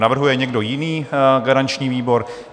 Navrhuje někdo jiný garanční výbor?